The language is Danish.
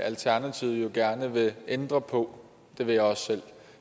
alternativet jo gerne vil ændre på det vil jeg også selv